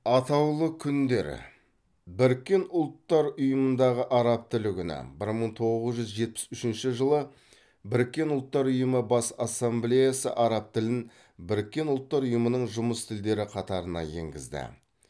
атаулы күндер біріккен ұлттар ұйымындағы араб тілі күні бір мың тоғыз жүз жетпіс үшінші жылы біріккен ұлттар ұйымы бас ассамблеясы араб тілін біріккен ұлттар ұйымының жұмыс тілдері қатарына енгізді